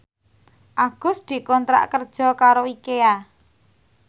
Agus dikontrak kerja karo Ikea